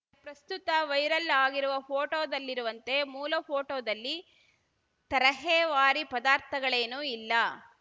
ಪ್ರಸ್ತುತ ವೈರಲ್‌ ಆಗಿರುವ ಫೋಟೋದಲ್ಲಿರುವಂತೆ ಮೂಲ ಫೋಟೋದಲ್ಲಿ ತರಹೇವಾರಿ ಪದಾರ್ಥಗಳೇನೂ ಇಲ್ಲ